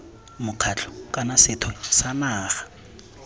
mokgatlho kana sethwe sa naga